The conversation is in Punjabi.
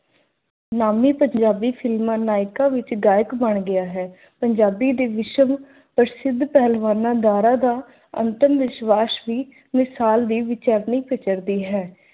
ਨਾਮੀ ਪੰਜਾਬੀ ਫ਼ਿਲਮਾਂ ਨਾਇਕਾ ਵਿੱਚ ਗਾਇਕ ਬਣ ਗਿਆ ਹੈ। ਪੰਜਾਬੀ ਦੇ ਵਿਸ਼ਵ ਪ੍ਰਸਿੱਧ ਪਹਿਲਵਾਨਾਂ ਦਾਰਾ ਦਾ ਅੰਤਮ ਵਿਸ਼ਵਾਸ ਵੀ ਮਿਸਾਲ ਦੀ